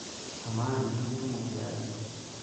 Amaa, itumutumu tiaji?